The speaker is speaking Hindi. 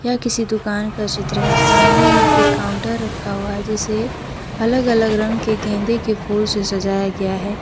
य किसी दुकान का चित्र है सामने में एक काउंटर रखा हुआ है जिसे अलग अलग रंग के गेंदे के फूल से सजाया गया है।